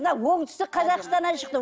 мына оңтүстік қазақстаннан шықты